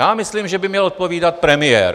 Já myslím, že by měl odpovídat premiér.